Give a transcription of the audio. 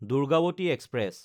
Durgavati express